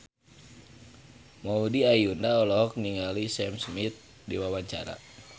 Maudy Ayunda olohok ningali Sam Smith keur diwawancara